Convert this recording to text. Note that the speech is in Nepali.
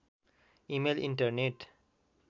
email internet